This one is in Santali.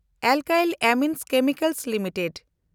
alkyl Amines Chemicals limited